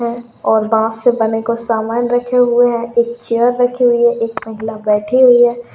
है और बास से बने कुछ सामान रखे हुए हैं एक चेयर रखी हुई है एक महिला बैठी हुई है।